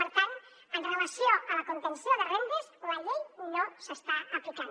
per tant amb relació a la contenció de rendes la llei no s’està aplicant